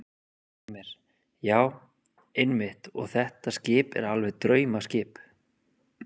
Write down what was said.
Heimir: Já, einmitt og þetta skip er alveg draumaskip?